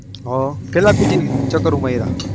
હ કેટલા PG ચકરુ માર્યા.